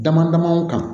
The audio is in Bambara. Dama dama kan